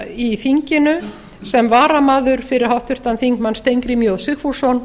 í þinginu sem varamaður fyrir háttvirtan þingmann steingrím j sigfússon